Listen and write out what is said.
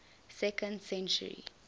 second century